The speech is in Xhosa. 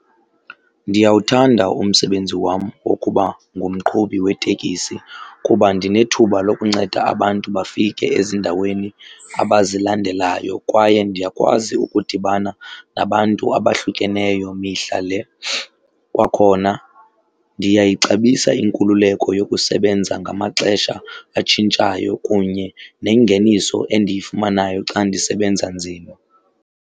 Ndiyawuthanda umsebenzi wam wokuba ngumqhubi weteksi kuba ndinethuba lokunceda abantu bafike ezindaweni abazilandelayo, kwaye ndiyakwazi ukudibana nabantu abahlukeneyo mihla le. Kwakhona ndiyayixabisa inkululeko yokusebenza ngamaxesha atshintshayo kunye nengeniso endiyifumanayo xa ndisebenza nzima.